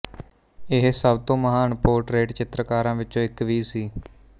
ਇਹ ਸਭ ਤੋਂ ਮਹਾਨ ਪੋਰਟਰੇਟ ਚਿੱਤਰਕਾਰਾਂ ਵਿੱਚੋਂ ਇੱਕ ਵੀ ਸੀ